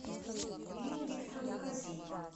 ирина викторовна казиева